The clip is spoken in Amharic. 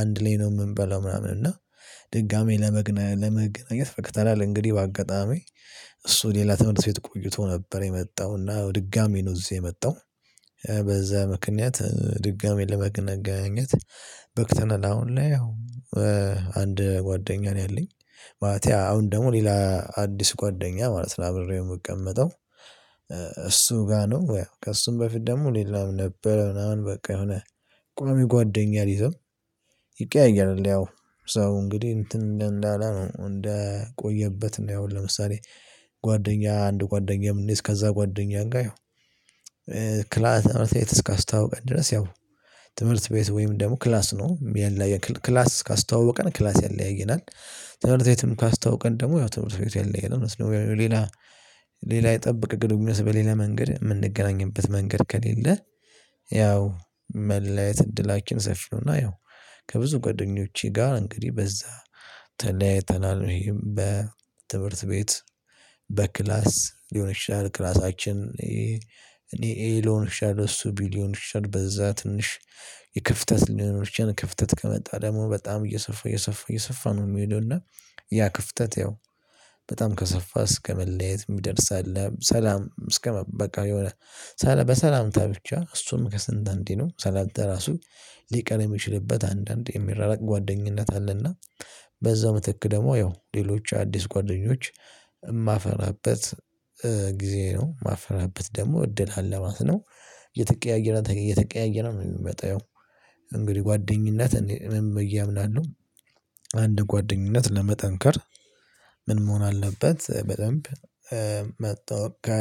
አንድ ላይ ነው የምንበለው ምናምን እና ድጋሚ ለመግናኘት በቃ ታዲያ ለእንግዲህ በአጋጣሚ እሱ ሌላ ትምህርት ቤት ቆይቶ ነበር የመጣው እና ድጋሚ ነው እዚህ የመጣው። በዛ ምክንያት ድጋሚ ለመገናኘት በቅተናል። አሁን ላይ አዎ አንድ ጓደኛ ነው ያለኝ። አሁን ደግሞ ሌላ አዲስ ጓደኛ ማለት ነው አብሬው የምቀመጠው። እሱ ጋር ነው ከእሱም በፊት ደግሞ ሌላም ነበር ምናምን በቃ የሆነ ቋሚ ጓደኛ አልይዝም። ይቀያየራል ያው ሰው እንግዲህ እንደ እንደ እንደ ቆየበት ነው። ያው ለምሳሌ ጓደኛ አንድ ጓደኛም እኔ እስከዛ ጓደኛ ጋር አየው። ክላስ እስካስታውቀን ድረስ ያው ትምህርት ቤት ወይም ደግሞ ክላስ ነው። ክላስ ካስተዋወቀን ክላስ ያለያየናል። ትምህርት ቤት ካስታዋወቀን ደግሞ ያው ትምህርት ቤቱ ያለያየናል ሌላ። ሌላ የጠበቀ ግንኙነት በሌላ መንገድ የምንገናኝበት መንገድ ከሌለ ያው የመለያየት እድላችን ሰፍ ነው ማለት ነው። ያው ከብዙ ጓደኞቼ ጋር እንግዲህ በዛ ተለያይተናል። በትምህርት ቤት በክላስ ሊሆን ይችላል ክላሳችን። እኔ ሊሆን ይችላል እሱ ቢ ሊሆን ይችላል በዛ ትንሽ የክፍተት ሊሆን ብቻ ክፍተት ከመጣ ደግሞ በጣም እየሰፋ እየሰፋ ነው የሚሄደው። እና ያ ክፍተት ያው በጣም ከሰፋ እስከመለየት የሚደርስ አለ ሰላም እስከመለየት በቃ የሆነ በሰላምታ ብቻ እሱም ከስንት አንዴ ነው ሰላም ታደራሱ። ሊቀር የሚችልበት አንዳንድ የሚራራቅ ጓደኝነት አለና። በዛው ምትክ ደግሞ ያው ሌሎች አዲስ ጓደኞች። የማፈራበት ጊዜ ነው የማፈራበት ደግሞ እድል አለ ማለት ነው። እየተቀያየረ እየተቀያየረ ነው የሚመጣው። እንግዲህ ጓደኝነት እኔ ዝም ብዬ አምናለሁ። አንድ ጓደኝነት ለመጠንከር። ምን መሆን አለበት በደንብ? መጠበቅ ከ